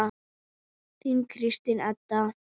Þín Kristín Edda.